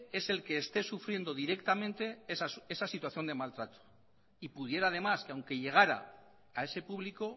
es el que esté sufriendo directamente esa situación de maltrato y pudiera además que aunque llegara a ese público